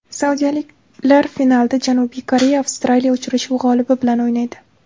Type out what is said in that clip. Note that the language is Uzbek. Saudiyaliklar finalda Janubiy Koreya Avstraliya uchrashuvi g‘olibi bilan o‘ynaydi.